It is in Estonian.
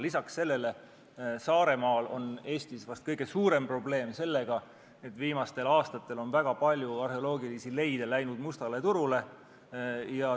Lisaks sellele, Saaremaal on Eestis vast kõige suurem probleem sellega, et viimastel aastatel on väga palju arheoloogilisi leide läinud mustale turule.